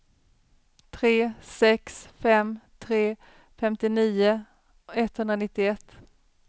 tre sex fem tre femtionio etthundranittioett